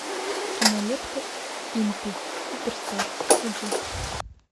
кинолента импи суперстар включи